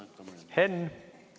Henn!